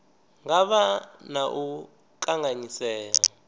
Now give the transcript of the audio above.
nga vha na u kanganyisea